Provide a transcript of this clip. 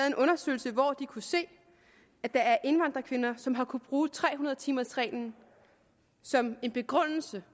en undersøgelse hvor de kunne se at der er indvandrerkvinder som har kunnet bruge tre hundrede timers reglen som en begrundelse